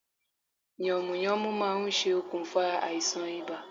Yànmùyánmú ma n se okùnfà àisàn ibà